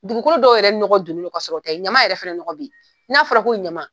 Dugukolo dɔw yɛrɛ nɔgɔ donnen don ka sɔrɔ o tɛ. Ɲaman yɛrɛ fɛnɛ nɔgɔ ben, na fɔra ko ɲaman